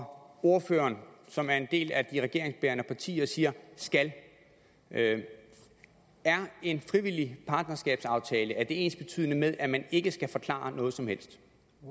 og ordføreren som er en del af de regeringsbærende partier siger skal er er en frivillig partnerskabsaftale ensbetydende med at man ikke skal forklare noget som helst